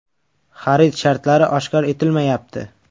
Xarid shartlari oshkor etilmayapti.